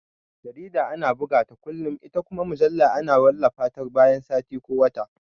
Jarida ana bugata kullum ita kuma mujalla ana wallafa ta bayan sati ko wata